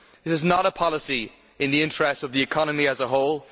This is not a policy in the interests of the economy as a whole.